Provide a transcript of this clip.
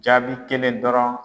Jaabi kelen dɔrɔn